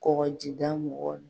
Kɔkɔjida mɔgɔw